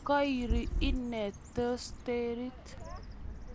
Kairi inee tosterit